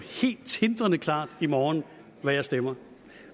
helt tindrende klart i morgen hvad jeg stemmer